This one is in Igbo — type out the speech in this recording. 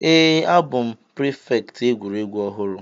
Èè, a bụ prịfèkt egwuregwu ọhụrụ.